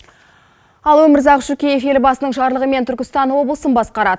ал өмірзақ шүкеев елбасынынң жарлығымен түркістан облысын басқарады